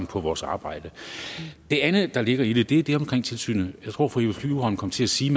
på vores arbejde det andet der ligger i det er det omkring tilsynet jeg tror fru eva flyvholm kom til at sige